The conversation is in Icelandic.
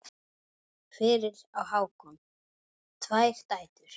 Fyrir á Hákon tvær dætur.